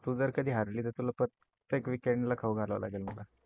तू जर कधी हरली तर तुला प्रत्येक weekend ला खाऊ घाला लागणारे आहे मला.